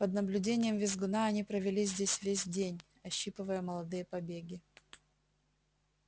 под наблюдением визгуна они провели здесь весь день ощипывая молодые побеги